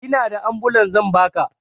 Inada ambulan zan baka